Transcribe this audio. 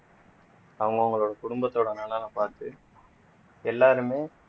அவங்க அவங்களோட குடும்பத்தோட நலனை பார்த்து எல்லாருமே